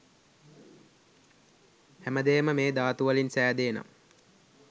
හැම දෙයම මේ ධාතු වලින් සෑදේ නම්